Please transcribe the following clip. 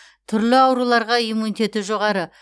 түрлі ауруларға иммунитеті жоғары